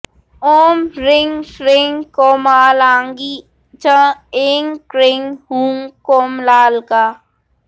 ॐ ह्रीं श्रीं कोमलाङ्गी च ऐं क्रीं हूं कोमलालका